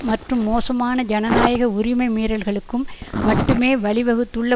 மற்றும் மோசமான ஜனநாயக உரிமை மீறல்களுக்கும் மட்டுமே வழிவகுத்துள்ள